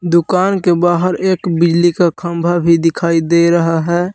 दुकान के बाहर एक बिजली का खंभा भी दिखाई दे रहा है।